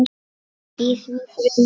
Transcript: í því þriðja.